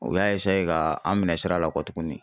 U y'a ka an minɛ sira la kɔ tuguni.